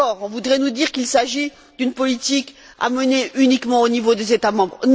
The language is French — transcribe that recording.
Là encore, on voudrait nous dire qu'il s'agit d'une politique à mener uniquement au niveau des États membres.